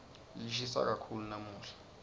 lishisa kakhulu lamuhla